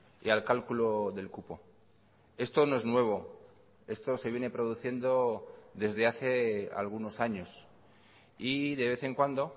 y al cálculo del cupo esto no es nuevo esto se viene produciendo desde hace algunos años y de vez en cuando